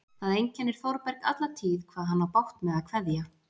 Það einkennir Þórberg alla tíð hvað hann á bágt með að kveðja.